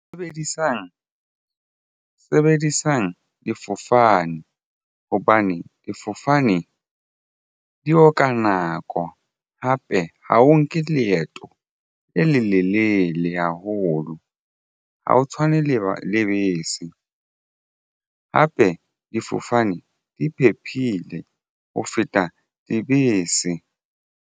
Sebedisang difofane hobane difofane di oka nako hape ha o nke leeto le lelelele haholo ha o tshwane le lebese hape difofane di phephile ho feta dibese.